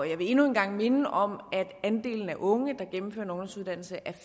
jeg vil endnu en gang minde om at andelen af unge der gennemfører en ungdomsuddannelse